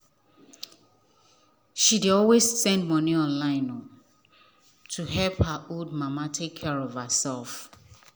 she dey always send money online to help her old mama take care of herself.